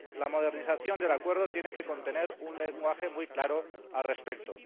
la modernización del Acuerdo tiene que contener un lenguaje muy claro al respecto.